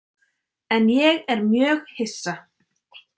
En ég er mjög hissa.